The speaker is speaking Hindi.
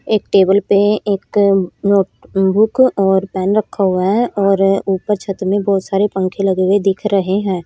एक टेबल पे एक नोट बुक और पेन रखा हुआ है और ऊपर छत में बहुत सारे पंखे लगे हुए दिख रहे हैं।